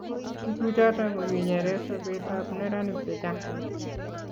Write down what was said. tukuchoto kokinyere sobekab neranik chechang